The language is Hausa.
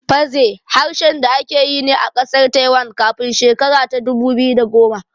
Fazeh harshen da ake yi ne a ƙasar Taiwan kafin shekara ta dubu biyu da goma